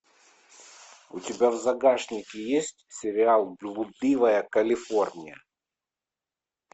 у тебя в загашнике есть сериал блудливая калифорния